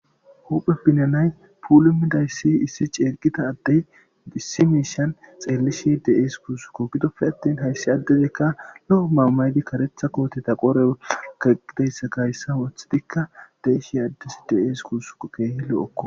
huphe binanay puulimidayssi issi ceeqita addey dissimiishan xeellishi de7ees kuusuko gidoppe attin hayssi addezekka lo7o maammaydi karetha kooteta qore kaqqidayssaka hayssa woothidikka deeshi addes de7ees kusuo keehi lo7okko